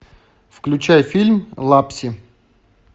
включай фильм лапси